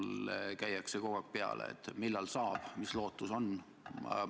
Minule käiakse kogu aeg peale: millal abi saab ja mis lootus on?